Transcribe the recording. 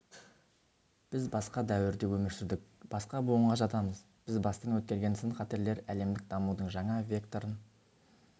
біз басқа дәуірде өмір сүрдік басқа буынға жатамыз біз бастан өткерген сын-қатерлер әлемдік дамудың жаңа векторын